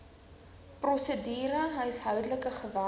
prosedure huishoudelike geweld